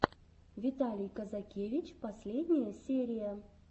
виталий казакевич последняя серия